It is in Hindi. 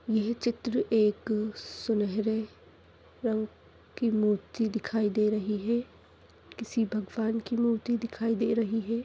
यह चित्र एक सुनहरे रंग की मूर्ति दिखाई दे रही है किसी भगवान की मूर्ति दिखाई दे रही है।